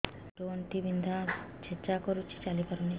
ମୋର ଆଣ୍ଠୁ ଗଣ୍ଠି ବିନ୍ଧା ଛେଚା କରୁଛି ଚାଲି ପାରୁନି